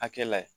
Hakɛ la ye